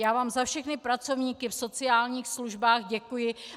Já vám za všechny pracovníky v sociálních službách děkuji.